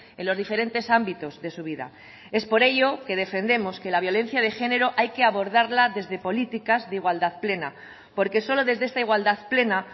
en los diferentes ámbitos de su vida es por ello que defendemos que la violencia de género hay que abordarla desde políticas de igualdad plena porque solo desde esta igualdad plena